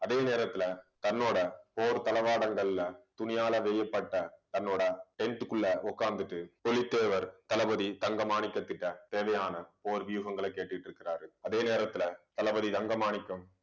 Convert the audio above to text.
அதே நேரத்துல, தன்னோட போர் தளவாடங்கள்ல துணியால வேயப்பட்ட தன்னோட tent க்குள்ள உட்கார்ந்துட்டு, புலித்தேவர் தளபதி தங்க மாணிக்கத்துகிட்ட தேவையான போர் வியூகங்களை கேட்டுட்டு இருக்கிறாரு. அதே நேரத்துல தளபதி ரங்கமாணிக்கம்